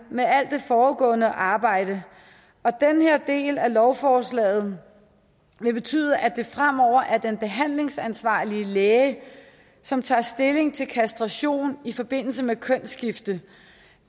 med alt det foregående arbejde og den her del af lovforslaget vil betyde at det fremover er den behandlingsansvarlige læge som tager stilling til kastration i forbindelse med kønsskifte